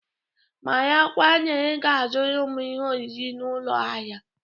Marakwa na ị ga azụrụm ihe oriri na ụlọ ahịa